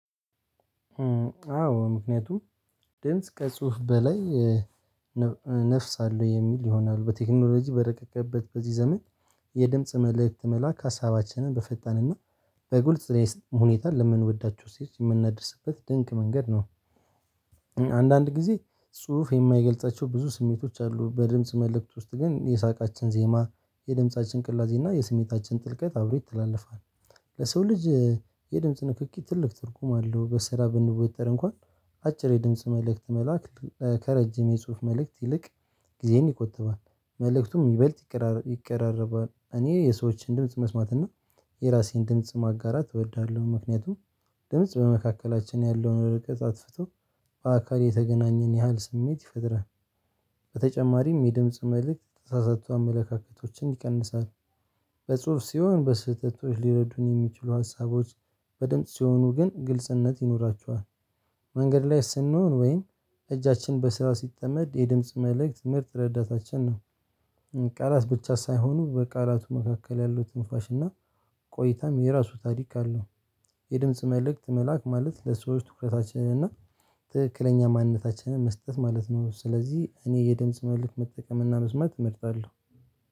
አዎ ምክንያቱም ድምጽ ከጽሁፍ በላይ ነፍስ አለው የሚል ይሆናሉ በቴክኖሎጂ በረቀቀበት በዚህ ዘመን የድምጽ መልእክት መላክ ሀሳባችንን በፈጣን እና በጉልት ስለሆነ ሁኔታ ለምንወዳቸው ስቴት የምንደርስበት ድንቅ መንገድ ነው። አንዳንድ ጊዜ ጽሁፍ የማይገልጻቸው ብዙ ስሜቶች አሉ። በድምጽ መልእክት ውስጥ ግን የሳቃችን ዜማ የድምጻችን ቅላጼ እና የስሜታችን ጥልቀት አብሮ ይተላለፋል። ለሰው ልጅ የድምጽ ንክኪ ትልቅ ትርጉም አለው። በስራ ብንወደድ እንኳን አጭር የድምጽ መልእክት መላክ ከረጅም የጽሁፍ መልእክት ይልቅ ጊዜን ይቆጥባል መልእክቱን የሚበልጥ ይቀራረባል። እኔ የሰዎችን ድምጽ መስማት እና የራሴን ድምጽ ማጋራት እወዳለሁ። ምክንያቱም ድምጽ በመካከላችን ያለውን ርቀት አጥፍቶ በአካል የተገናኘን ያህል ስሜት ይፈጥራል። በተጨማሪም የድምጽ መልእክት የተሳሳቱ አመለካከቶችን ይቀንሳል። በጽሁፍ ሲሆን በስህተቶች ሊረዱኝ የሚችሉ ሀሳቦች በድምጽ ሲሆኑ ግን ግልጽነት ይኖራቸዋል። መንገድ ላይ ስንሆን ወይን እጃችን በስራ ሲጠመድ የድምጽ መልእክት ምርጥ ረዳታችን ነው። ቃላት ብቻ ሳይሆኑ በቃላቱ መካከል ያለው ትንፋሽ እና ቆይታም የራሱ ታሪክ አለው። የድምጽ መልእክት መላክ ማለት ለሰዎች ትኩረታችንን እና ትክክለኛ ማንነታችንን መስጠት ማለት ነው። ስለዚህ እኔ የድምጽ መልክ መጠቀምና መስማት እመርጣለሁ።